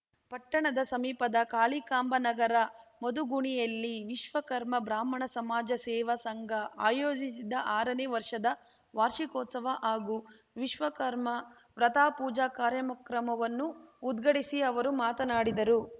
ಪಟ್ಟಣದ ಸಮೀಪದ ಕಾಳಿಕಾಂಬನಗರ ಮದುಗುಣಿಯಲ್ಲಿ ವಿಶ್ವಕರ್ಮ ಬ್ರಾಹ್ಮಣ ಸಮಾಜ ಸೇವಾ ಸಂಘ ಆಯೋಜಿಸಿದ್ದ ಆರನೇ ವರ್ಷದ ವಾರ್ಷಿಕೋತ್ಸವ ಹಾಗೂ ವಿಶ್ವಕರ್ಮ ವ್ರತಪೂಜಾ ಕಾರ್ಯಕ್ರಮವನ್ನೂ ಉದ್ಘಾಟಿಸಿ ಅವರು ಮಾತನಾಡಿದರು